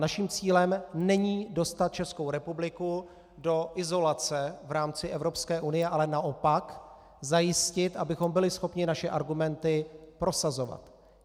Naším cílem není dostat Českou republiku do izolace v rámci Evropské unie, ale naopak zajistit, abychom byli schopni naše argumenty prosazovat.